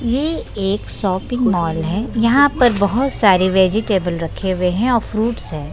ये एक shopping mall है यहाँ पर बहुत सारे वेजीटेबल रखे हुए है और फ्रूट्स हैं।